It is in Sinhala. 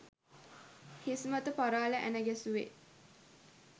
හිස්මත පරාල ඇණ ගැසුවේ